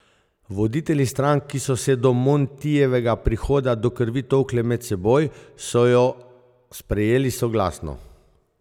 Voditelji strank, ki so se do Montijevega prihoda do krvi tolkle med seboj, so jo sprejeli soglasno.